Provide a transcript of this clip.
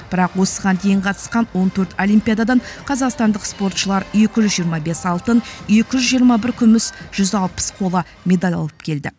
бірақ осыған дейін қатысқан он төрт олимпиададан қазақстандық спортшылар екі жүз жиырма бес алтын екі жүз жиырма бір күміс жүз алпыс қола медаль алып келді